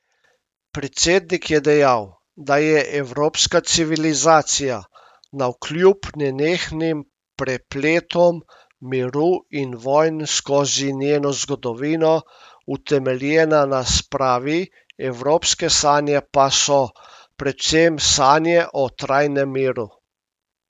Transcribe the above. Predsednik je dejal, da je evropska civilizacija, navkljub nenehnim prepletom miru in vojn skozi njeno zgodovino, utemeljena na spravi, evropske sanje pa so predvsem sanje o trajnem miru.